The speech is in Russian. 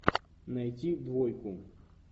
найти двойку